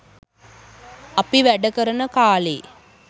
අපි වැඩ කරන කා‍ලේ